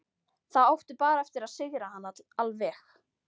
Þá áttu bara eftir að sigra hana alveg.